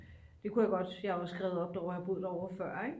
det kunne jeg godt for jeg er jo skrevet op derovre jeg har jo boet derovre før ik